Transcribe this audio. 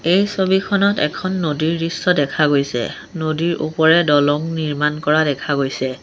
এই ছবিখনত এখন নদীৰ দৃশ্য দেখা গৈছে নদীৰ ওপৰেৰে দলং নিৰ্মাণ কৰা দেখা গৈছে।